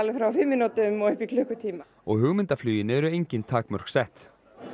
frá fimm mínútum og upp í klukkutíma og hugmyndafluginu eru engin takmörk sett